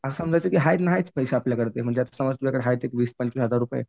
असं समजायचं नाहीत ते पैसे आपल्याकडं. समज आपल्याकडं आहेत एक वीस पंचवीस हजार रुपये